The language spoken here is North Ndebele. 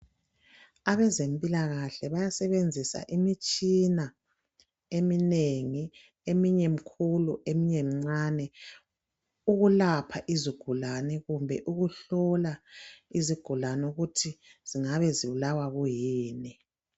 Abezempilakahle bayasebenzisa imitshina eminengi eminye mikhulu eminye mincane ukulapha izigulane kumbe ukuhlola izigulane ukuthi zingabe zibulawa kuyini.